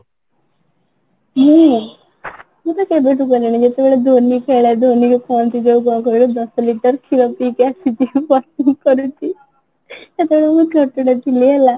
ମତେ ତ ସବୁଠୁ ଭଲ ଯେତେବେଳେ ଧୋନି ଖେଳେ ଧୋନି ର front ଜଂଘ ରେ ଦଶ ଲିଟର କ୍ଷୀର ପିଇକି ଆସିଛି ସେତେବଳେ ମୁଁ ଛୋଟ ଟେ ଥିଲି ହେଲା